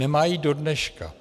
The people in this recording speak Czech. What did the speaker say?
Nemá ji do dneška.